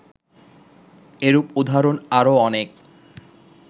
এরূপ উদাহরণ আরও অনেক